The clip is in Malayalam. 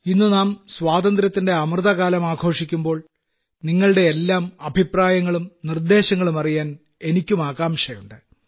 ഇന്നു നാം സ്വാതന്ത്ര്യത്തിന്റെ അമൃതകാലം ആഘോഷിക്കുമ്പോൾ നിങ്ങളുടെ എല്ലാം അഭിപ്രായങ്ങളും നിർദ്ദേശങ്ങളും അറിയാൻ എനിക്കും ആകാംക്ഷയുണ്ട്